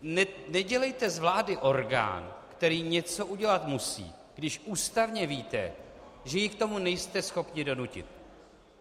Nedělejte z vlády orgán, který něco udělat musí, když ústavně víte, že ji k tomu nejste schopni donutit.